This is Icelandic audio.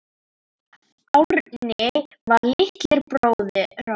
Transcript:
Árni var litli bróðir okkar.